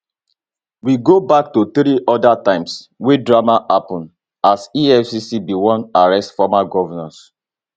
we go back to three oda times wey drama happen as efcc bin wan arrest former govnors